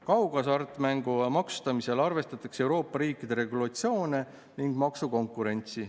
Kaughasartmängu maksustamisel arvestatakse Euroopa riikide regulatsioone ning maksukonkurentsi.